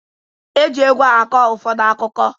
Eji egwu akọ ụfọdụ akụkọ